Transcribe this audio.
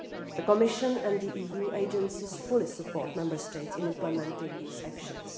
The Commission and the EU agencies fully support Member States in implementing these actions.